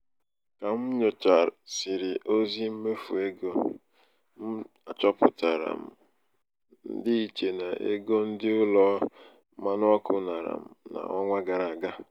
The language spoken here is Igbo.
ka m nyochasịrị ozi mmefu ego ozi mmefu ego ọhụrụ m achọpụtara m ndịiche n'ego ndị ụlọ mmanụ ọkụ nara m n'ọnwa gara aga.